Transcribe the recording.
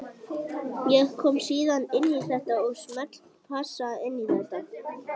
Ég kom síðan inn í þetta og smellpassa inn í þetta.